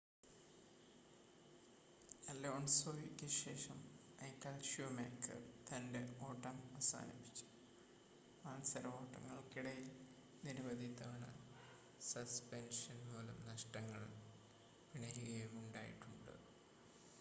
അലോൺസോയ്ക്ക് ശേഷം Michael Schumacher തൻ്റെ ഓട്ടം അവസാനിപ്പിച്ചു മത്സരഓട്ടങ്ങൾക്കിടയിൽ നിരവധി തവണ സസ്പെൻഷൻ മൂലം നഷ്ടങ്ങൾ പിണയുകയുമുണ്ടായിട്ടുണ്ട്